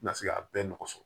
Na se k'a bɛɛ nɔgɔ sɔrɔ